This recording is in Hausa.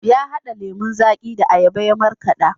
Ya hada lemon zaƙi da ayaba ya markada.